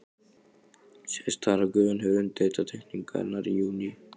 Sést þar, að Guðjón hefur undirritað teikningarnar í júní